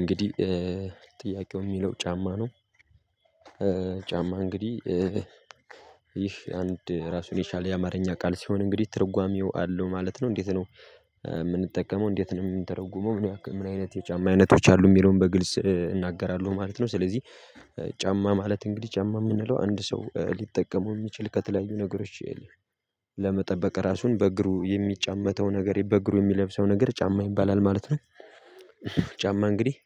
እንግዲህ ጥያቄው የሚለው ጫማ ነው። ጫማ እንግዲህ ይህ አንድ ራሱን የሻለ የአማርኛ ቃል ሲሆን እንግዲህ ትርጓሜው አለው ማለት ነው። እንዴት ነው የምንጠቀመው እንዴት ነው የምንተረጉመው ምን አይነት የጫማ አይነቶች አሉ የሚለውን በግልጽ እናገራለው ማለት ነው ስለዚህ ጫማ ማለት እንግዲህ ጫማ የምንለው አንድ ሰው ሊጠቀመው የሚችል ከተለያዩ ነገሮች ለመጠበቅ ራሱን በእግሩ የሚጫመተው ነገር በእግሩ የሚለብሰው ነገር ጫማ ይባላል ማለት ነው። ጫማ እንግዲህ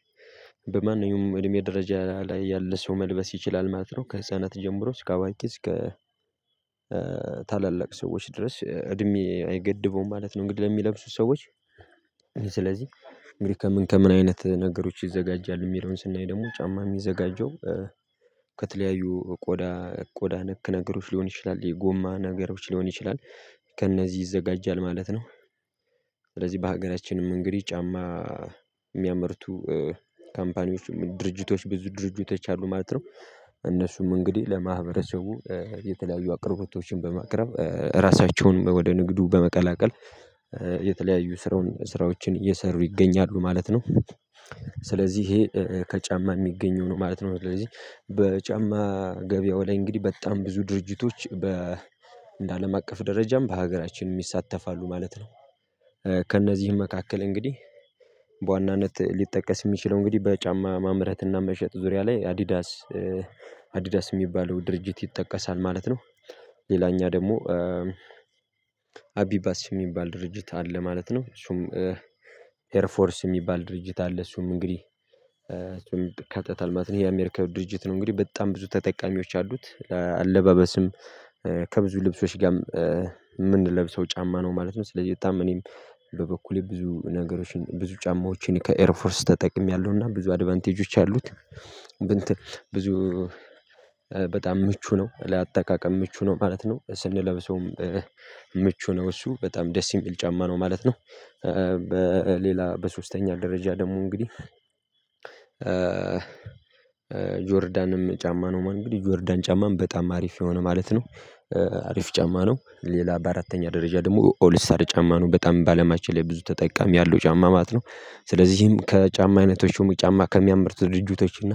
በማንኛውም እድሜ ደረጃ ላይ ያለ ሰው መልበስ ይችላል ማለት ነው። ከህፃናት ጀምሮ እስከ አዋቂ እስከ ታላላቅ ሰዎች ድረስ እድሜ አይገድበውም ማለት ነው እንግዲህ ለሚለብሱት ሰዎች ታላላቅ ሰዎች ድረስ እድሜ አይገድበውም ማለት ነው እንግዲህ ለሚለብሱት ሰዎች ከተለያዩ ቆዳ ቆዳ ነክ ነገሮች ሊሆን ይችላል የጎማ ነገሮች ሊሆን ይችላል ከእነዚህ ይዘጋጃል ማለት ነው። ከተለያዩ ቆዳ ቆዳ ነክ ነገሮች ሊሆን ይችላል የጎማ ነገሮች ሊሆን ይችላል ከእነዚህ ይዘጋጃል ማለት ነው። ካምፓኒዎችም ድርጅቶች ብዙ ድርጅቶች አሉ ማለት ነው እነሱም እንግዲህ ለማህበረሰቡ የተለያዩ አቅርቦቶችን በማቅረብ ራሳቸውንም ወደ ንግዱ በመቀላቀል የተለያዩ ስራውን ስራዎችን እየሰሩ ይገኛሉ ማለት ነው ስለዚህ ይሄ ከጫማ የሚገኘው ነው ማለት ነው ስለዚህ በጫማ ገበያው ላይ እንግዲህ በጣም ብዙ ድርጅቶች በ እንደ አለም አቀፍ ደረጃም በሀገራችንም ይሳተፋሉ ማለት ነው ከእነዚህም መካከል እንግዲህ በዋናነት ሊጠቀስ የሚችለው እንግዲህ በጫማ ማምረት እና መሸጥ ዙሪያ ላይ አዲዳስ አዲዳስ የሚባለው ድርጅት ይጠቀሳል ማለት ነው ሌላኛ ደግሞ አቢባስ የሚባል ድርጅት አለ ማለት ነው እሱም ኤር ፎርስ የሚባል ድርጅት አለ እሱም እንግዲህ እሱም ይካተታል ማለት ነው ይሄ አሜሪካዊ ድርጅት ነው እንግዲህ በጣም ብዙ ተጠቃሚዎች አሉት አለባበስም ከብዙ ልብሶች ጋር የምንለብሰው ጫማ ነው ማለት ነው ስለዚህ የታም እኔም በበኩሌ ብዙ ነገሮችን ብዙ ጫማዎችን ከኤርፎርስ ተጠቅሜያለሁና ብዙ አድቫንቴጆች አሉት ብዙ በጣም ምቹ ነው ለአጠቃቀም ምቹ ነው ማለት ነው ስንለብሰውም ምቹ ነው እሱ በጣም ደስ የሚል ጫማ ነው ማለት ነው በሌላ በሶስተኛ ደረጃ ደግሞ እንግዲህ ጆርዳንም ጫማ ነው ማለት ነው ጆርዳን ጫማም በጣም አሪፍ የሆነ ማለት ነው አሪፍ ጫማ ነው ሌላ በአራተኛ ደረጃ ደግሞ ኦል ስታር ጫማ ነው በጣም በአለማችን ላይ ብዙ ተጠቃሚ ያለው ጫማ ማለት ነው ስለዚህም ከጫማ አይነቶች ሹሙ ጫማ ከሚያመርት ድርጅቶች እና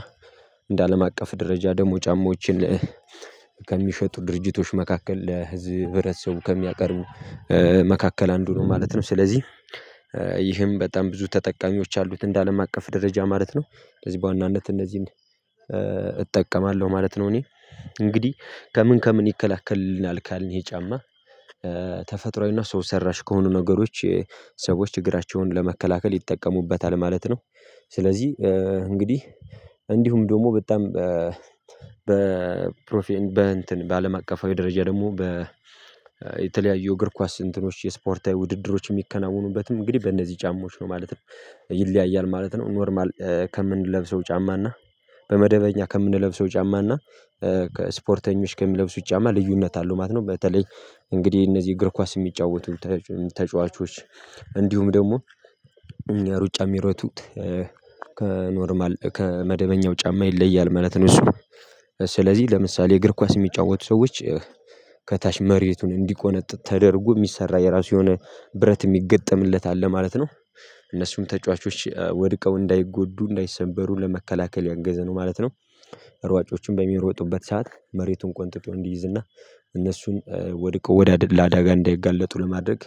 እንደ አለም አቀፍ ደረጃ ደግሞ ጫማዎችን ከሚሸጡ ድርጅቶች መካከል ለህዝብ ህብረተሰቡ ከሚያቀርቡ መካከል አንዱ ነው ማለት ነው ስለዚህ ይህም በጣም ብዙ ተጠቃሚዎች አሉት እንደ አለም አቀፍ ደረጃ ማለት ነው ስለዚህ በዋናነት እነዚህን እጠቀማለሁ ማለት ነው እኔ እንግዲህ ከምን ከምን ይከላከልልናል ካልን ይሄ ጫማ ተፈጥሮአዊና ሰው ሰራሽ ከሆኑ ነገሮች ሰዎች ችግራቸውን ለመከላከል ይጠቀሙበታል ማለት ነው ስለዚህ እንግዲህ እንዲሁም ደግሞ በጣም በፕሮፌ በአለም አቀፋዊ ደረጃ ደግሞ የተለያዩ እግር ኳስ እንትኖች የስፖርታዊ ውድድሮች የሚከናወኑበትም እንግዲህ በእነዚህ ጫማዎች ነው ማለት ይለያያል ማለት ነው ኖርማል ከምንለብሰው ጫማና በመደበኛ ከምንለብሰው ጫማና ከስፖርተኞች ከሚለብሱት ጫማ ልዩነት አለው ማለት ነው በተለይ እንግዲህ እነዚህ እግር ኳስ የሚጫወቱ ተጫዋቾች እንዲሁም ደግሞ ሩጫ የሚረጡት ከኖርማል ከመደበኛው ጫማ ይለያል ማለት ነው እሱ ስለዚህ ለምሳሌ እግር ኳስ የሚጫወቱ ሰዎች ከታች መሬቱን እንዲቆነጥጥ ተደርጎ የሚሰራ የራሱ የሆነ ብረት የሚገጠምለት አለ ማለት ነው እነሱም ተጫዋቾች ወድቀው እንዳይጎዱ እንዳይሰበሩ ለመከላከል ያገዘ ነው ማለት ነው ሯጮቹም በሚሮጡበት ሰዓት መሬቱን ቆንጥጠው እንዲይዝ እና እነሱን ወድቀው ለአደጋ እንዳይጋለጡ ለማድረግ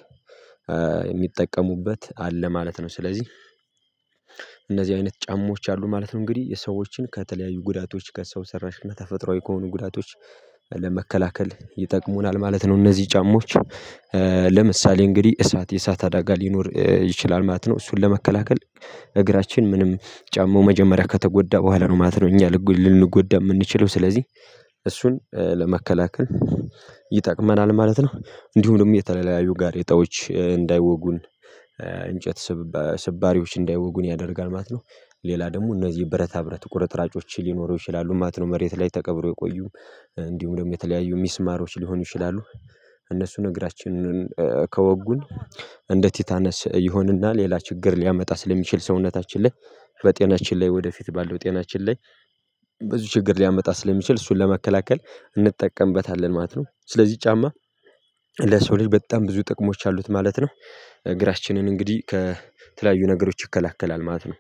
የሚጠቀሙበት አለ ማለት ነው ስለዚህ እነዚህ አይነት ጫማዎች አሉ ማለት ነው እንግዲህ የሰዎችን ከተለያዩ ጉዳቶች ከሰው ሰራሽ እና ተፈጥሮአዊ ከሆኑ ጉዳቶች ለመከላከል ይጠቅሙናል ማለት ነው እነዚህ ጫማዎች ለምሳሌ እንግዲህ እሳት የእሳት አዳጋ ሊኖር ይችላል ማለት ነው እሱን ለመከላከል እግራችን ምንም ጫማው መጀመሪያ ከተጎዳ በኋላ ነው ማለት ነው እኛ ልንጎዳ የምንችለው ስለዚህ እሱን ለመከላከል ይጠቅመናል ማለት ነው እንዲሁም ደግሞ የተለያዩ ጋሬጣዎች እንዳይወጉን እንጨት ስባሪዎች እንዳይወጉን ያደርጋል ማለት ነው ሌላ ደግሞ እነዚህ ብረታ ብረት ቁረጥራጮች ሊኖሩ ይችላሉ ማለት ነው መሬት ላይ ተቀብረው የቆዩ እንዲሁም ደግሞ የተለያዩ ሚስማሮች ሊሆኑ ይችላሉ እነሱን እግራችንን ከወጉን እንደ ቲታነስ ይሆንና ሌላ ችግር ሊያመጣ ስለሚችል ሰውነታችን ላይ በጤናችን ላይ ወደፊት ባለው ጤናችን ላይ ብዙ ችግር ሊያመጣ ስለሚችል እሱን ለመከላከል እንጠቀምበታለን ማለት ነው ስለዚህ ጫማ ለሰው ልጅ በጣም ብዙ ጥቅሞች አሉት ማለት ነው ግራችንን እንግዲህ ከተለያዩ ነገሮች ይከላከላል ማለት ነው